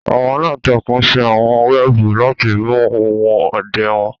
àwọn àlantàkùn ṣe àwọn wẹẹbu lati mu ohun ọdẹ wọn